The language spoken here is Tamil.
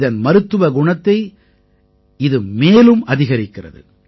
இதன் மருத்துவ குணத்தை இது மேலும் அதிகரிக்கிறது